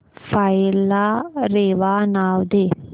file ला रेवा नाव दे